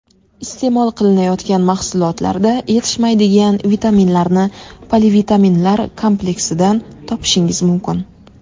Iste’mol qilinayotgan mahsulotlarda yetishmaydigan vitaminlarni polivitaminlar kompleksidan topishingiz mumkin.